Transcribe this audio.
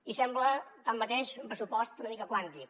i sembla tanmateix un pressupost una mica quàntic